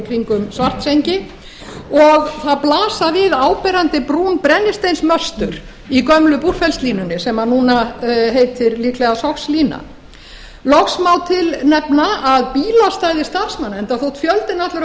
kringum svartsengi og það blasa við áberandi brún brennisteinsmöstur í gömlu búrfellslínunni sem núna heitir líklega sogslína loks má til nefna að bílastæði starfsmanna enda þótt fjöldinn allur af fólki